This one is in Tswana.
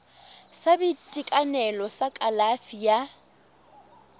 sa boitekanelo sa kalafi ya